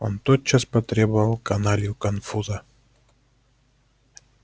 он тотчас потребовал каналью конфуза